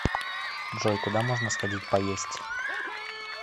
джой куда можно сходить поесть